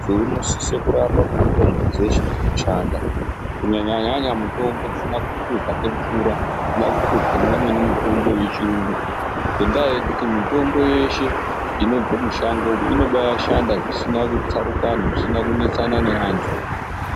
Muntu unosise kurapa ngemitombo dzinoshanda kunyanya-nyanya mitombo dzisina kuhluzwa ngemvura inofana kuhluzwa neimweni mitombo yechiyungu. Ngendaa yekuti mitombo yeshe inobva mishango umu inobashanda zvisina tsarukano zvisina kunetsana neantu.